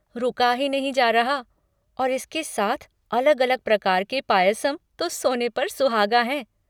रुका ही नहीं जा रहा, और इसके साथ अलग अलग प्रकार के पायसम तो सोने पर सुहागा है।